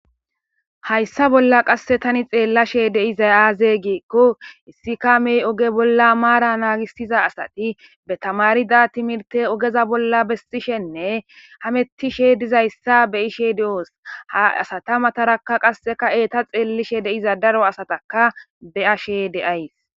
hayssa bolla qasse tani xeellashe deizay aaze giikko issika mey oge bolla maara naagistiza asati be tamarida timirte ogeza bolla besxishenne hamettishe dizayssa be ishe di7oos ha asata matarakka qasseka eeta xeellishe deiza daro asataka be7ashe deays